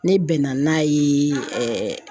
Ne bɛnna n'a ye